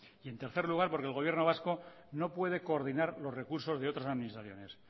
y en tercer lugar porque el gobierno vasco no puede coordinar los recursos de otras administraciones